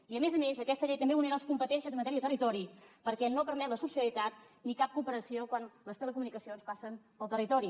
i a més a més aquesta llei també vulnera les competències en matèria de territori perquè no permet la subsidiarietat ni cap cooperació quan les telecomunicacions passen pel territori